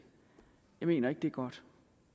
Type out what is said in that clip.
jeg mener ikke det er godt